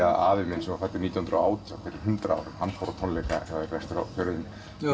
að afi minn sem var fæddur nítján hundruð og átján fyrir hundrað árum hann fór á tónleika hjá þér vestur á fjörðum